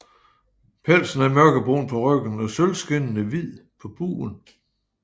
Pelsen er mørkebrun på ryggen og sølvskinnende hvid på bugen